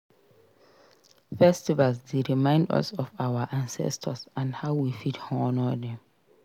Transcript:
Festivals dey remind us of our ancestors and how we fit honor dem.